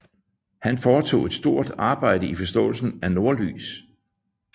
Han foretog et stort arbejde i forståelsen af nordlys